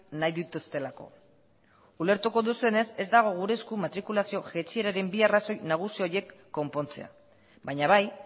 nahi dituztelako ulertuko duzuenez ez dago gure esku matrikulazio jaitsieraren bi arrazoi nagusi horiek konpontzea baina bai